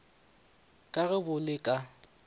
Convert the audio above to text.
ka ge bo le ka